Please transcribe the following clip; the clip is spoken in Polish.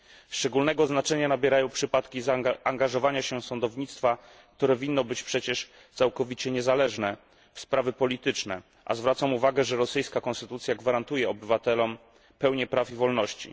Szczególnego znaczenia nabierają przypadki angażowania się sądownictwa, które winno być przecież całkowicie niezależne, w sprawy polityczne, a zwracam uwagę, że rosyjska konstytucja gwarantuje obywatelom pełnię praw i wolności.